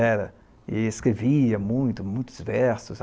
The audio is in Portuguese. Era, e escrevia muito muitos versos.